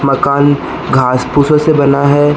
मकान घास फूस से बना है।